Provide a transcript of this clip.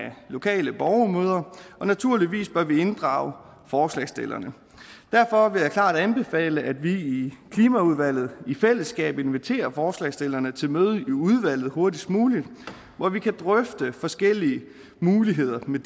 lokale borgermøder og naturligvis bør vi inddrage forslagsstillerne derfor vil jeg klart anbefale at vi i klimaudvalget i fællesskab inviterer forslagsstillerne til møde i udvalget hurtigst muligt hvor vi kan drøfte forskellige muligheder med